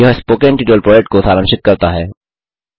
यह spoken tutorial project को सारांशित करता है